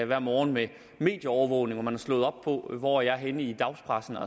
hver morgen med medieovervågning hvor man har slået op på hvor jeg er henne i dagspressen